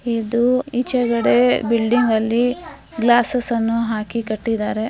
ಇದು ಈಚೆ ಕಡೆ ಬಿಲ್ಡಿಂಗ ಅಲ್ಲಿ ಗ್ಲಾಸ್ಸ್ ಅನ್ನು ಹಾಕಿ ಕಟ್ಟಿದ್ದಾರೆ .